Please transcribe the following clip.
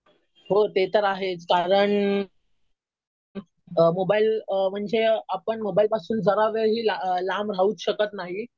हो ते तर आहेच. कारण मोबाईल म्हणजे आपण मोबाईलपासून जरा वेळी लांब राहूच शकत नाही.